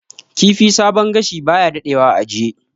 Kifi sabon gashi baya dadewa a ajiye